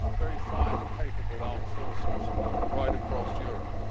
We have very fine, capable armed forces right across Europe.